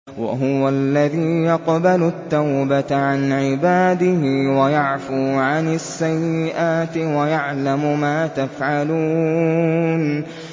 وَهُوَ الَّذِي يَقْبَلُ التَّوْبَةَ عَنْ عِبَادِهِ وَيَعْفُو عَنِ السَّيِّئَاتِ وَيَعْلَمُ مَا تَفْعَلُونَ